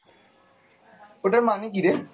ওইটার মানে কিরে?